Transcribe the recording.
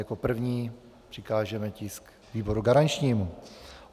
Jako první přikážeme tisk výboru garančnímu.